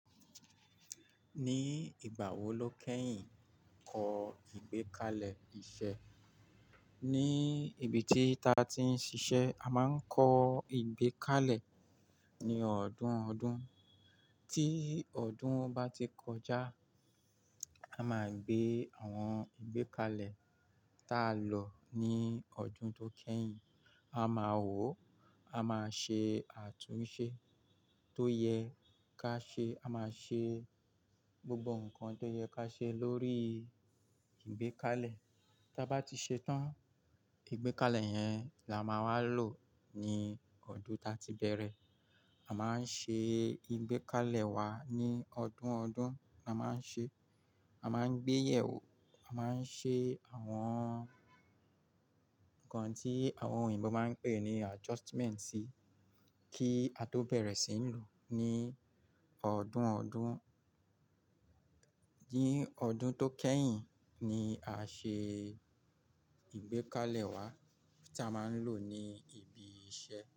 Ní ìgbà wo lo kẹ́yìn kọ ìgbékalẹ̀ iṣẹ́? Ní ibi tí ta ti ń ṣiṣẹ́, a máa ń kọ ìgbékalẹ̀ ní ọdún ọdún. Tí ọdún bá ti kọjá, a máa gbé àwọn ìgbékalẹ̀ tá lọ ní ọdún tó kẹ́yìn, a máa wò ó, a máa ṣe àtúnṣe tó yẹ ká ṣe, a máa ṣe gbogbo nǹkan tó yẹ ká ṣe lórí ìgbékalẹ̀. Tí a bá ti ṣetán, ìgbékalẹ̀ yẹn la máa wa lò ní ọdún ta ti bẹ̀rẹ̀. A máa ń ṣe ìgbékalẹ̀ wa ní ọdún ọdún, a máa ń ṣe, a máa ń gbé yèwò, a máa ń ṣe àwọn nǹkan tí àwọn òyìnbó máa ń pè ní adjustment sí i kí a tó bẹ̀rẹ̀ sí ń lò ó ní ọdún ọdún. Ní ọdún tó kẹ́yìn ni a ṣe ìgbékalẹ̀ wa tí a máa ń lò ní ibi iṣẹ́